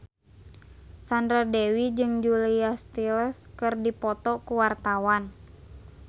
Sandra Dewi jeung Julia Stiles keur dipoto ku wartawan